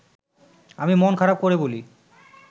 আমি মন খারাপ করে বলি